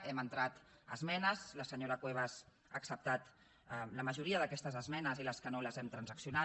hem entrat esmenes la senyora cuevas ha acceptat la majoria d’aquestes esmenes i les que no les hem transaccionat